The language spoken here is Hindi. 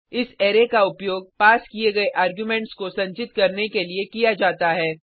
इस अरै का उपयोग पास किये गये आर्गुमेंट्स को संचित करने के लिए किया जाता है